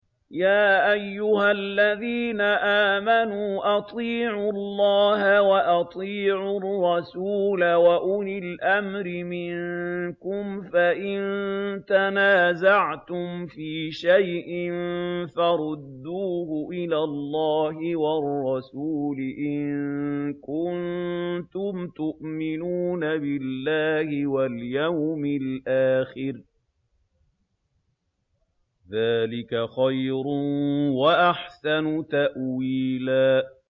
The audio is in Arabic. يَا أَيُّهَا الَّذِينَ آمَنُوا أَطِيعُوا اللَّهَ وَأَطِيعُوا الرَّسُولَ وَأُولِي الْأَمْرِ مِنكُمْ ۖ فَإِن تَنَازَعْتُمْ فِي شَيْءٍ فَرُدُّوهُ إِلَى اللَّهِ وَالرَّسُولِ إِن كُنتُمْ تُؤْمِنُونَ بِاللَّهِ وَالْيَوْمِ الْآخِرِ ۚ ذَٰلِكَ خَيْرٌ وَأَحْسَنُ تَأْوِيلًا